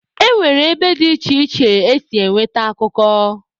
E nwere ebe dị iche iche esi enweta akụkọ.